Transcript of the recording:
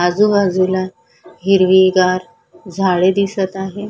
आजूबाजूला हिरवीगार झाडे दिसत आहे.